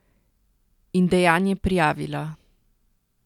In dejanje prijavila.